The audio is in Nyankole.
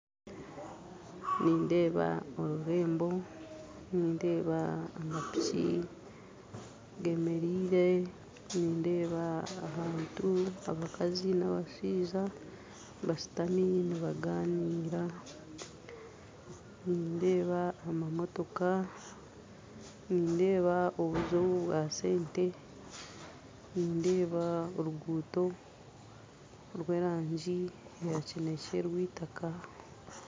Nindeeba orurembo nindeeba amapiki gemereire nindeeba abantu abakazi n'abashaija bashutami nibagaanira nindeeba amamotoka nindeeba obuju bw'esente nindeeba oruguuto rw'erangi ya kinekye rw'eitaaka